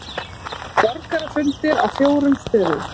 Borgarafundir á fjórum stöðum